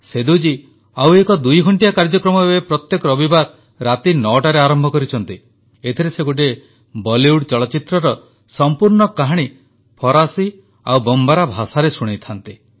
ସେଦୁ ଜୀ ଆଉ ଏକ ଦୁଇ ଘଣ୍ଟିଆ କାର୍ଯ୍ୟକ୍ରମ ଏବେ ପ୍ରତ୍ୟେକ ରବିବାର ରାତି 9ଟାରେ ଆରମ୍ଭ କରିଛନ୍ତି ଏଥିରେ ସେ ଗୋଟିଏ ବଲିଉଡ଼ ଚଳଚ୍ଚିତ୍ରର ସଂପୂର୍ଣ୍ଣ କାହାଣୀ ଫରାସୀ ଓ ବମବାରା ଭାଷାରେ ଶୁଣାଇଥାନ୍ତି